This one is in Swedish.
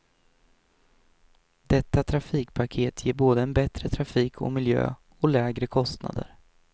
Detta trafikpaket ger både en bättre trafik och miljö och lägre kostnader.